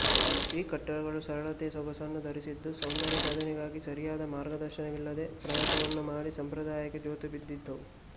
ಈ ಕಟ್ಟಡಗಳು ಸರಳತೆಯ ಸೋಗನ್ನು ಧರಿಸಿದ್ದು ಸೌಂದರ್ಯಸಾಧನೆಗಾಗಿ ಸರಿಯಾದ ಮಾರ್ಗದರ್ಶನವಿಲ್ಲದ ಪ್ರಯತ್ನವನ್ನು ಮಾಡಿ ಸಂಪ್ರದಾಯಕ್ಕೆ ಜೋತುಬಿದ್ದಿದ್ದವು